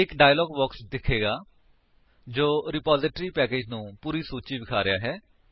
ਇੱਕ dialog box ਦਿਖੇਗਾ ਜੋ ਰਿਪਾਜਿਟਰੀ ਪੈਕੇਜਸ ਦੀ ਪੂਰੀ ਸੂਚੀ ਵਿਖਾ ਰਿਹਾ ਹੈ